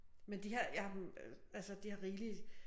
Men de har jeg øh altså de har rigelig